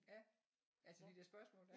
Ja altså de der spørgsmål der